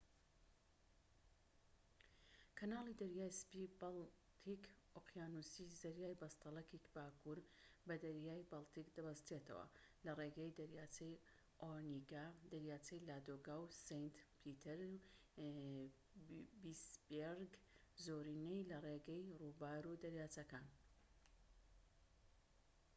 کەناڵی دەریای سپی-بەڵتیک ئۆقیانوسی زەریای بەستەلەکی باکوور بە دەریای بەڵتیک دەبەستێتەوە لە ڕێگەی دەریاچەی ئۆنیگا دەریاچەی لادۆگا و سەینت پیتریسبێرگ زۆرینەی لە ڕێگەی ڕووبار و دەریاچەکان